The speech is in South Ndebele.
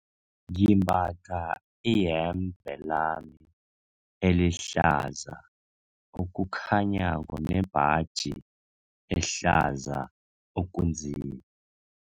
Ngimbatha iyembe lami elihlaza okukhanyako nembaji ehlaza okunzima.